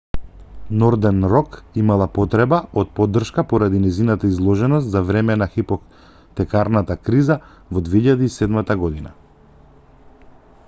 нордерн рок имала потреба од поддршка поради нејзината изложеност за време на хипотекарната криза во 2007 година